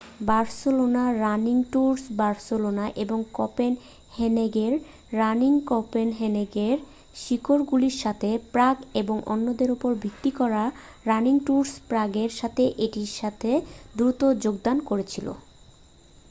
বার্সেলোনার running tours Barcelona এবং কোপেনহেগেনের রানিংকোপেনহেগেনের শিকড়গুলির সাথে প্রাগ এবং অন্যদের উপর ভিত্তি করা রানিংট্যুরস প্রাগের সাথে এটির সাথে দ্রুত যোগদান করেছিল